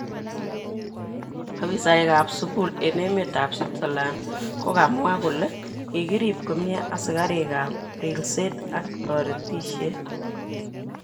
Ofisaek kap sukul eng emet ab Switzerland kokamwa kole kikirib komie asikarik kap rilset ak toretishet.